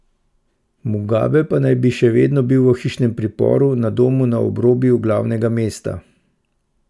Mugabe pa naj bi še vedno bil v hišnem priporu na domu na obrobju glavnega mesta.